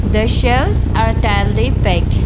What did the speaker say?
the shelves are tightly pack.